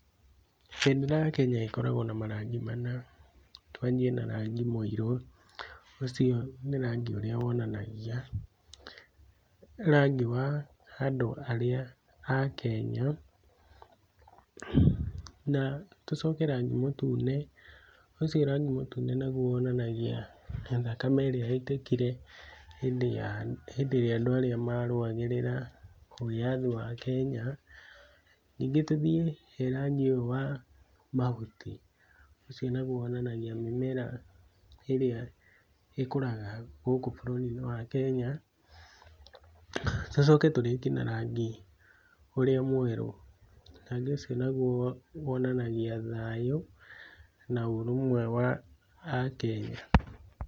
Bendera ya Kenya ĩkoragwo na marangi mana, twanjie na rangi mũirũ, ũcio nĩ rangi ũrĩa wonanagia rangi wa andũ arĩa a Kenya, na tũcoke rangi mũtune, ũcio rangi mũtune naguo wonanagia thakame ĩrĩa yaitĩkire hindĩ ya hindĩ ĩrĩa andũ maruagĩrĩra wĩyathi wa Kenya, ningĩ tũthiĩ he rangi ũyũ wa mahuti ,ũcio naguo wonanagia mĩmera ĩrĩa ĩkũraga gũkũ bũrũrinĩ wa Kenya, tũcoke tũrĩkie na rangi ũrĩa mwerũ. Rangi ũcio naguo wonanagia thayũ, na ũrũmwe wa akenya.